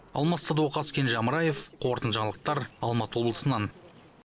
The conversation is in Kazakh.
алмас садуақас кенже амраев қорытынды жаңалықтар алматы облысынан